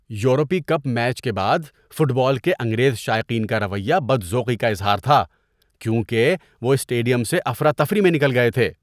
یورپی cup match کے بعد فٹ بال کے انگریز شائقین کا رویہ بدذوقی کا اظہار تھا کیونکہ وہ اسٹیڈیم سے افراتفری میں نکل گئے تھے۔